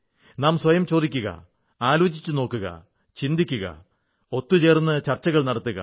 നാം സ്വയം ചോദിക്കുക ആലോചിച്ചുനോക്കൂക ചിന്തിക്കുക ഒത്തു ചേർന്ന് ചർച്ചകൾ നടത്തുക